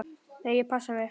Nei, ég passa mig.